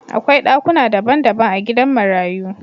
Akwai dakuna dabban dabban a gidan marayu